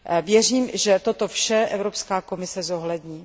Věřím, že toto vše Evropská komise zohlední.